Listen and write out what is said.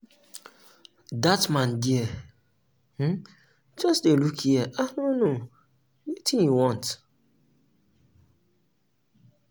that man there um just dey look here i no um know um wetin he want